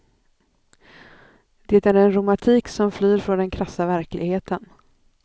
Det är en romantik som flyr från den krassa verkligheten.